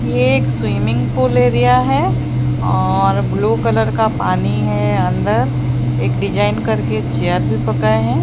ये एक swimming pool area है और ब्लू कलर का पानी है अंदर एक डिजाइन करके चेयर भी हैं।